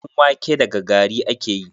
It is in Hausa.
Ɗan wake daga gari ake yi.